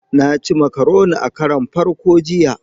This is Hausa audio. Na ci makaroni a karon farko jiya.